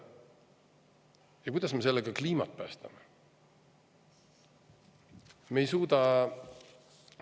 Ja kuidas me sellega kliimat päästame?